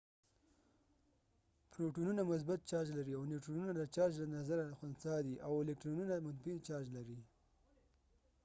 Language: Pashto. پروټونونه مثبت چارج لري او نیوټرنونه د چارج د نظره خنثی دي الکترونونه منفی چارج لري